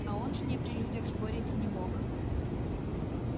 а он с ней при людях спорить не мог